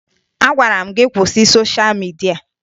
Agwara m gị kwụsị sosha midia!